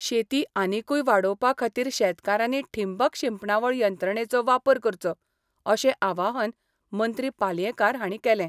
शेती आनिकूय वाडोवपा खातीर शेतकारांनी ठींबक शिंपणावळ यंत्रणंचो वापर करचो अशें आवाहन मंत्री पालयेंकार हांणी केलें.